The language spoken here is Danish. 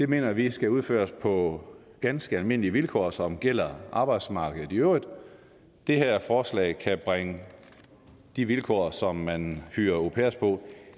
mener vi skal udføres på ganske almindelige vilkår som gælder arbejdsmarkedet i øvrigt det her forslag kan bringe de vilkår som man hyrer au pairer på